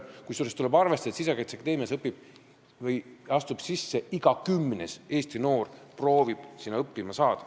Kusjuures tuleb arvestada, et Sisekaitseakadeemiasse proovib õppima saada iga kümnes Eesti noor.